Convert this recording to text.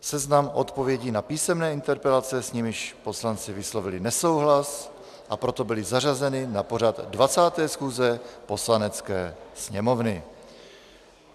Seznam odpovědí na písemné interpelace, s nimiž poslanci vyslovili nesouhlas, a proto byly zařazeny na pořad 20. schůze Poslanecké sněmovny.